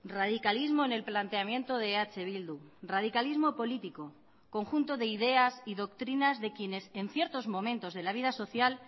radicalismo en el planteamiento de eh bildu radicalismo político conjunto de ideas y doctrinas de quienes en ciertos momentos de la vida social